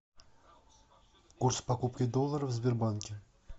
курс покупки доллара в сбербанке